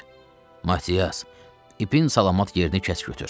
Matias, ipin salamat yerini kəs götür.